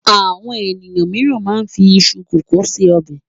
Àwọn ènìyàn mìíràn máa ń fi iṣu kòkó se ọbẹ̀.